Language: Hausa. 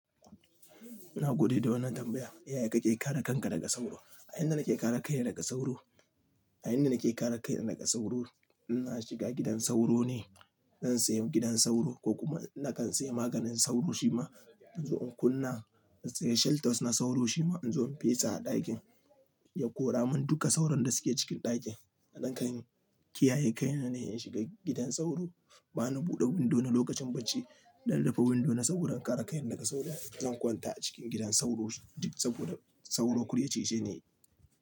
Na gode da wannan tambaya. Yaya kake kare kanka daga sauro? A inda nake kare kaina daga sauro, a inda nake kare kaina daga sauro, ina shiga gidan sauro ne. Zan sayi gidan sauro ko kuma na kan sayi maganin sauro shi ma. In zo in kunna, in sayi shelters na sauro shima in zo in fesa a ɗakin ya kora min duka sauron da suke cikin ɗakin. A dankani kiyaye kaina ne in shiga gidan sauro. Bani buɗe window na lokacin bacci, zan rufe window na saboda in kare kaina daga sauro. Zan kwanta a cikin gidan sauro, saboda sauro kurya cijeni.